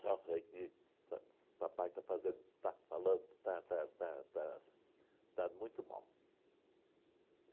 Só sei que pa s o papai está fazendo está falando está está está está está muito mal.